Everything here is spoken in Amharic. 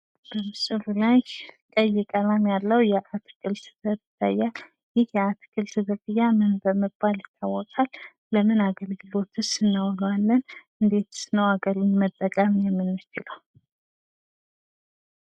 በምስሉ ላይ ቀይ ቀለም ያለው የአትክልት ዘር ይታያል ትክክል ዘር ምን በመባል ይታወቃል? ለምን አገልግሎትስ እናውለዋለን? እንዴትስ ነው አርገን መጠቀም የምንችለው?